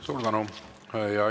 Suur tänu!